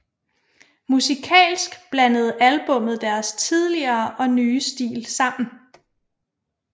Musikalsk blandede albummet deres tidligere og nye stil sammen